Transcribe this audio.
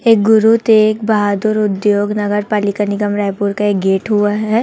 एक गुरु तेग बहादुर उद्योग नगर पालिका निगम रायपुर का गेट हुआ है।